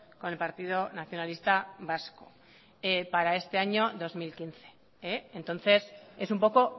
con el partido nacionalista vasco para este año dos mil quince entonces es un poco